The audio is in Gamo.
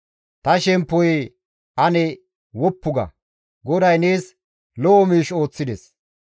Ta shemppoyee ane woppu ga; GODAY nees lo7o miish ooththides.